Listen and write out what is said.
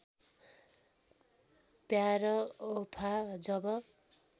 प्यार वफा जब